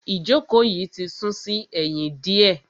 Ìjókòó yìí ti sún sí ẹ̀yìn diẹ.